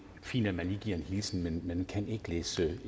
fint at man lige giver en hilsen men man kan ikke læse